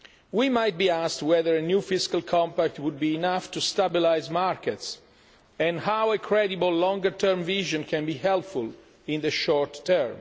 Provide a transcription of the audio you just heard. We might be asked whether a new fiscal compact would be enough to stabilise markets and how a credible longer term vision can be helpful in the short